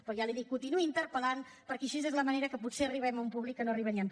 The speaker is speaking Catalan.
però ja l’hi dic continuï interpel·lant perquè així és la manera que potser arribem a un públic que no hi arribaríem